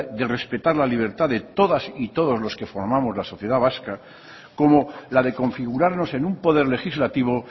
de respetar la libertad de todas y todos los que formamos la sociedad vasca como la de configurarnos en un poder legislativo